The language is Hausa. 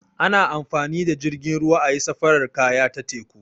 Ana amfani da jirgin ruwa ayi safarar kaya ta teku.